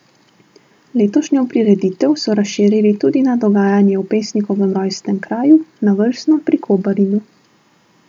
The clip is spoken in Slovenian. Letošnjo prireditev so razširili tudi na dogajanje v pesnikovem rojstnem kraju, na Vrsno pri Kobaridu.